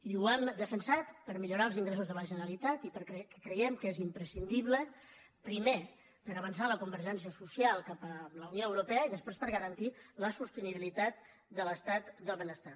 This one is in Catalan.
i ho hem defensat per millorar els ingressos de la generalitat i perquè creiem que és imprescindible primer per avançar la convergència social cap a la unió europea i després per garantir la sostenibilitat de l’estat del benestar